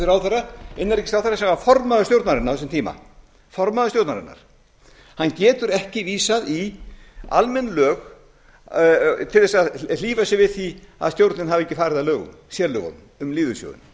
innanríkisráðherra sem var formaður stjórnarinnar á þess tíma hann getur ekki vísað í almenn lög til þess að hlífa sér við því að stjórnin hafi ekki farið að lögum sérlögunum um lífeyrissjóðinn